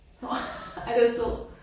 Nåh ej den er sød